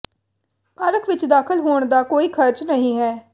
park ਵਿਚ ਦਾਖਲ ਹੋਣ ਦਾ ਕੋਈ ਖ਼ਰਚ ਨਹੀਂ ਹੈ